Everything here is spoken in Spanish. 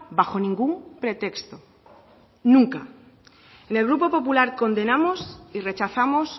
bajo ningún pretexto nunca en el grupo popular condenamos y rechazamos